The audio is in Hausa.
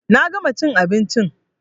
Na gama chin abinchin